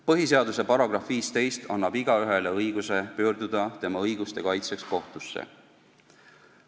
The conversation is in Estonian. Põhiseaduse § 15 annab igaühele õiguse pöörduda oma õiguste kaitseks kohtusse.